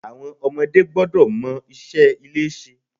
Àwọn ọmọdé gbọ́dọ̀ mọ iṣẹ́ ilé ṣe.